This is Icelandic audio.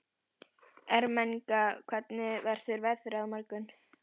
Ermenga, hvernig verður veðrið á morgun?